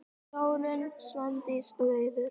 Þórunn, Svandís og Auður.